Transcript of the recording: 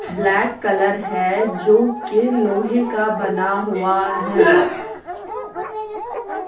Black colour है जो कि लोहे का बना हुआ है।